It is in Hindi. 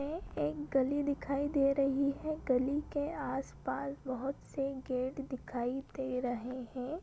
यह एक गली दिखाई दे रही है गली के आस-पास बहुत से गेट दिखाई दे रहे हैं।